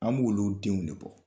An' b'olu denw de bɔ.